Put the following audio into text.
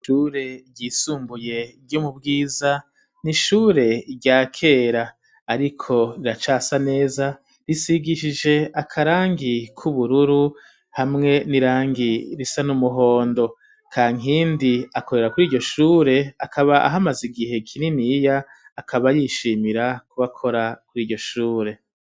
Ishure ryisumbuye ryo mu Bwiza, ni ishure rya kera ariko riracasa neza, risigishije akarangi k'ubururu hamwe n'irangi risa n'umuhondo. Kankindi akorera kuri iryo shure, akaba ahamaze igihe kininiya, akaba yishimira kuba akora kuri iryo shure .